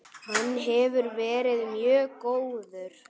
Hann hefur verið mjög góður.